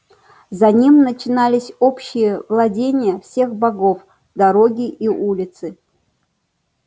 за ним начинались общие владения всех богов дороги и улицы